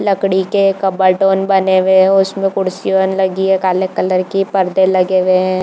लकड़ी के कबर्ड मन बने हुए है उसमें कुर्सी मन लगी है काले कलर की पर्दे लगे हुए है।